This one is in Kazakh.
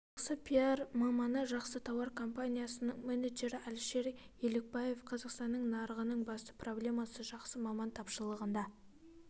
жақсы пиар маманы жақсы тауар компаниясының менеджері әлішер елікбаев қазақстандық нарығының басты проблемасы жақсы маман тапшылығында